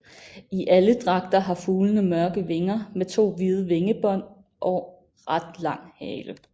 I alle dragter har fuglene mørke vinger med to hvide vingebånd og ret lang hale